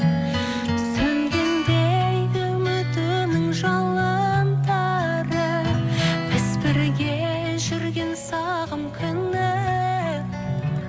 сөнгендей үмітінің жалындары біз бірге жүрген сағым күннің